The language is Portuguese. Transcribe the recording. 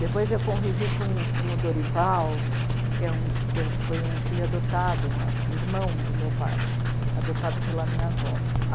Depois eu convivi com, com o Dorival, que é um, que foi um filho adotado, irmão do meu pai, adotado pela minha avó.